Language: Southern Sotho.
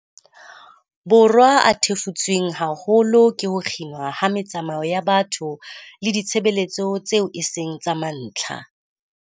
Borwa a thefutsweng haholo ke ho kginwa ha metsamao ya batho le ditshebeletso tseo e seng tsa mantlha.